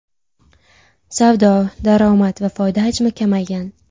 Savdo, daromad va foyda hajmi kamaygan.